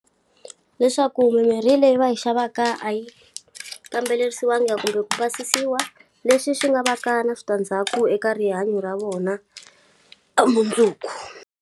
Leswaku mimirhi leyi va yi xavaka a yi kamberiwangi kumbe ku pasisiwa, leswi swi nga va ka na switandzhaku eka rihanyo ra vona, ka mundzuku.